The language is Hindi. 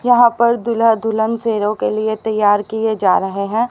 यहां पर दूल्हा दुल्हन फेरों के लिए तैयार किए जा रहे हैं।